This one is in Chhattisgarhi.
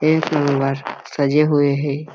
एक नंबर सजे हुए हे।